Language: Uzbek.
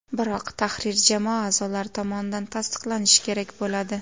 Biroq tahrir jamoa a’zolari tomonidan tasdiqlanishi kerak bo‘ladi.